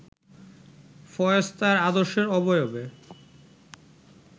ফয়েজ তাঁর আদর্শের অবয়বে